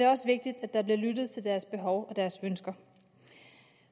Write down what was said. også vigtigt at der bliver lyttet til deres behov og deres ønsker